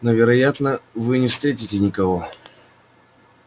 но вероятно вы не встретите никого